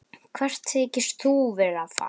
Hvert þykist þú vera að fara?